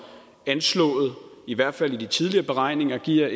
anslået i hvert fald i de tidligere beregninger giver